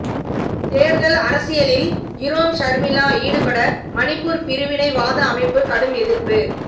தேர்தல் அரசியலில் இரோம் ஷர்மிளா ஈடுபட மணிப்பூர் பிரிவினைவாத அமைப்பு கடும் எதிர்ப்பு